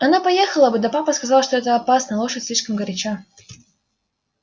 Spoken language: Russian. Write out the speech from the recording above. она поехала бы да папа сказал что это опасно лошадь слишком горяча